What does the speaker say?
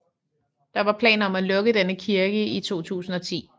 Der var planer om at lukke denne kirke i 2010